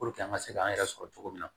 an ka se k'an yɛrɛ sɔrɔ cogo min na